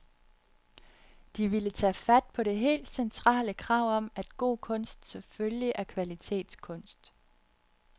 De ville tage fat på det helt centrale krav om, at god kunst selvfølgelig er kvalitetskunst.